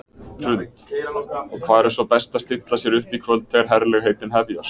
Hrund: Og hvar er svo best að stilla sér upp í kvöld þegar herlegheitin hefjast?